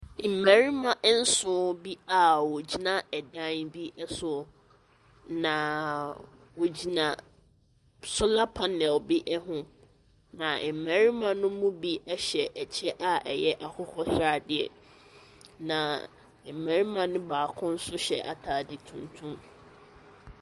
Mmarimanso bi a wɔgyina dan bi so, naaaa wɔhyina solar panel bi ho. Na mmarima no mu bi hyɛ ɛkyɛ a ɛyɛ akokɔsradeɛ. Na mmarimano baakonso hyɛ atadeɛ tuntum.